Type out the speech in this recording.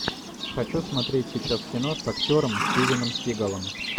хочу смотреть сейчас кино с актером стивеном сигалом